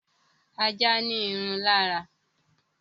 Ajá ní irun lára